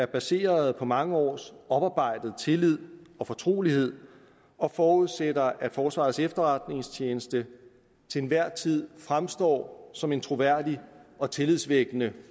baseret på mange års oparbejdet tillid og fortrolighed og forudsætter at forsvarets efterretningstjeneste til enhver tid fremstår som en troværdig og tillidsvækkende